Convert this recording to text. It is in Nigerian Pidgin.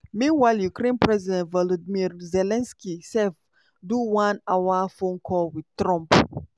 meanwhile ukraine president volodymyr zelensky sef do one-hour phone call wit trump.